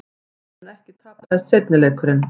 Oftar en ekki tapaðist seinni leikurinn.